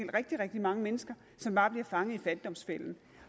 rigtig rigtig mange mennesker som bare bliver fanget i fattigdomsfælden